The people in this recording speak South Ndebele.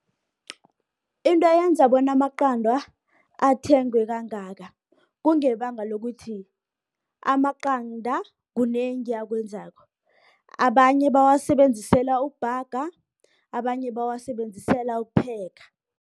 Into eyenza bona amaqandwa athengwe kangaka, kungebanga lokuthi, amaqanda kunengi akwenzako. Abanye bawasebenzisela ukubhaga, abanye bawasebenzisela ukupheka.